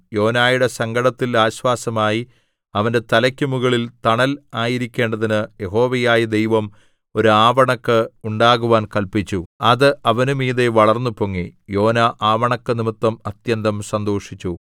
യോനയുടെ സങ്കടത്തിൽ ആശ്വാസമായി അവന്റെ തലക്കു മുകളിൽ തണൽ ആയിരിക്കേണ്ടതിന് യഹോവയായ ദൈവം ഒരു ആവണക്ക് ഉണ്ടാകുവാൻ കല്പിച്ചു അത് അവന് മീതെ വളർന്നുപൊങ്ങി യോനാ ആവണക്കു നിമിത്തം അത്യന്തം സന്തോഷിച്ചു